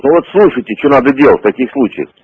ну вот слушайте что надо делать в таких случаях